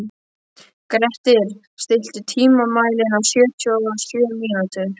Grettir, stilltu tímamælinn á sjötíu og sjö mínútur.